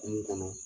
Kunun kɔnɔ